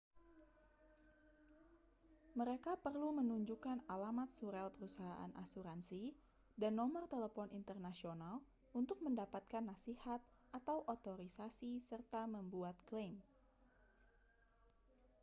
mereka perlu menunjukkan alamat surel perusahaan asuransi dan nomor telepon internasional untuk mendapatkan nasihat/otorisasi serta membuat klaim